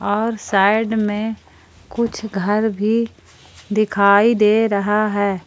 और साइड में कुछ घर भी दिखाई दे रहा है।